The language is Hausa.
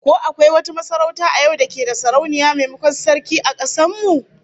Ko akwai wata masarauta a yau da ke da Sarauniya maimakon Sarki, a kasar mu?